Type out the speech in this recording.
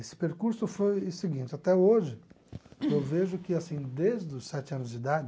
Esse percurso foi o seguinte, até hoje eu vejo que assim desde os sete anos de idade,